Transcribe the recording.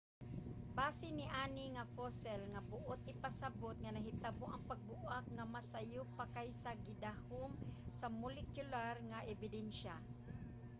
base niani nga fossil nga buot ipasabot nga nahitabo ang pagbuak nga mas sayo pa kaysa sa gidahom sa molekular nga ebidensya